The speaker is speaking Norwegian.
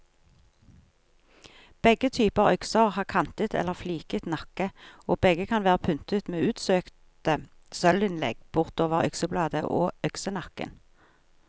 Begge typer økser har kantet eller fliket nakke, og begge kan være pyntet med utsøkte sølvinnlegg bortover øksebladet og øksenakken.